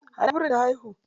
A ina birin ta haihu?